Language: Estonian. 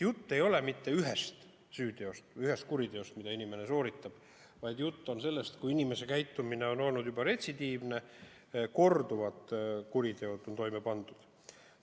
Jutt ei ole mitte ühest süüteost, ühest kuriteost, mille inimene sooritas, vaid jutt on sellest, et inimese käitumine on olnud retsidiivne, ta on korduvalt kuritegusid toime pannud.